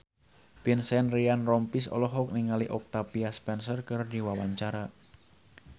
Vincent Ryan Rompies olohok ningali Octavia Spencer keur diwawancara